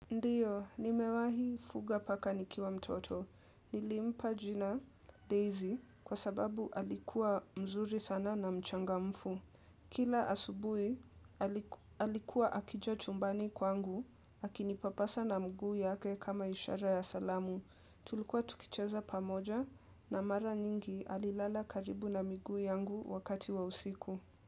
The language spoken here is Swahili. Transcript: Ndiyo, nimewahi fuga paka nikiwa mtoto. Nilimpa jina Daisy kwa sababu alikuwa mzuri sana na mchangamfu. Kila asubuhi, alikuwa akija chumbani kwangu, akinipapasa na mguu yake kama ishara ya salamu. Tulikuwa tukicheza pamoja na mara nyingi alilala karibu na miguu yangu wakati wa usiku.